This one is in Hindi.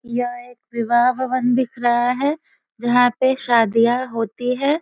यह एक विवाह भवन दिख रहा है जहाँ पे शादियाँ होती है।